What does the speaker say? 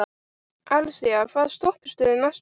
Axelía, hvaða stoppistöð er næst mér?